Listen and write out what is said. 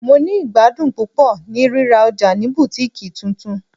Mo ni igbadun pupọ ni rira ọja ni Butikii tuntun